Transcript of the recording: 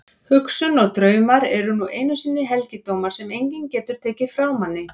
Hugsun og draumar eru nú einu sinni helgidómar sem enginn getur tekið frá manni.